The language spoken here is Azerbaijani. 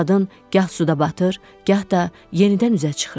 Qadın gah suda batır, gah da yenidən üzə çıxırdı.